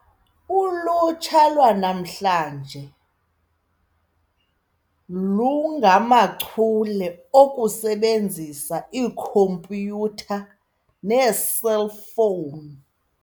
Ulutsha lwanamhla lungamachule okusebenzisa iikhompyutha neeselfowuni.